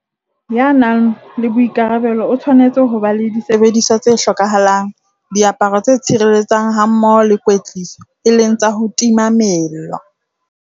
Ya nang le boikarabelo o tshwanetse ho ba le disebediswa tse hlokahalang, diaparo tse tshireletsang hammoho le kwetliso, e leng tsa ho tima mello.